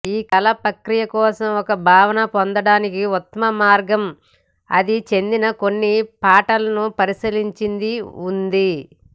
ఈ కళా ప్రక్రియ కోసం ఒక భావన పొందడానికి ఉత్తమ మార్గం అది చెందిన కొన్ని పాటలను పరిశీలించి ఉంది